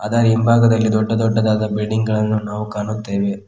ಅದರ ಹಿಂಭಾಗದಲ್ಲಿ ದೊಡ್ಡ ದೊಡ್ಡದಾದ ಬಿಲ್ಡಿಂಗ್ ಗಳನ್ನು ನಾವು ಕಾಣುತ್ತೇವೆ.